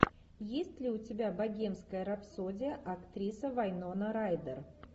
есть ли у тебя богемская рапсодия актриса вайнона райдер